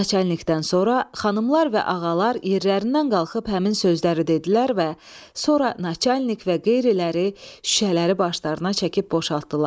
Naçanikdən sonra xanımlar və ağalar yerlərindən qalxıb həmin sözləri dedilər və sonra naçanik və qeyriləri şüşələri başlarına çəkib boşaltdılar.